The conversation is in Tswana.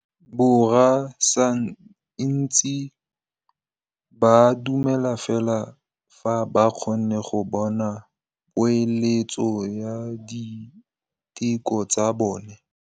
Borra saense ba dumela fela fa ba kgonne go bona poeletsô ya diteko tsa bone.